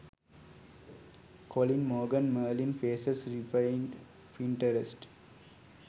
colin morgan merlin faces repinned pinterest